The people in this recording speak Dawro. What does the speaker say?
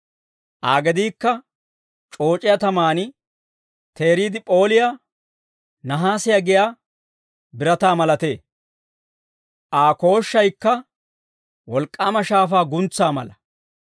Aa gediikka c'ooc'iyaa tamaan teeriide p'ooliyaa nahaasiyaa giyaa birataa malatee; Aa kooshshaykka wolk'k'aama shaafaa guntsaa mala.